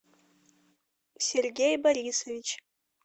сергей борисович